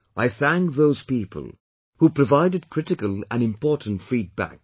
I thank those people, who provided critical and important feedback